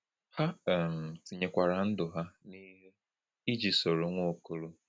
Ha um tinyekwara ndụ ha n’ihe iji soro Nwaokolo.